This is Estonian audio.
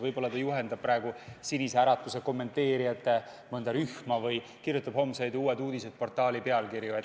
Võib-olla juhendab ta praegu mõnda Sinise Äratuse kommenteerijate rühma või kirjutab Uute Uudiste portaali homseid pealkirju.